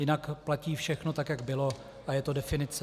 Jinak platí všechno tak, jak bylo, a je to definice.